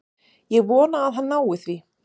Ég vona að hann nái því.